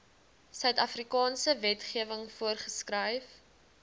suidafrikaanse wetgewing voorgeskryf